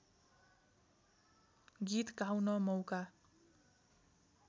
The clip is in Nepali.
गीत गाउन मौका